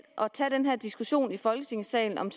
at tage den her diskussion i folketingssalen om